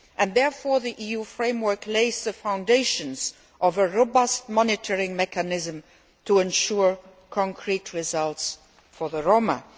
Therefore the EU framework lays the foundations for a robust monitoring mechanism to ensure concrete results for the Roma.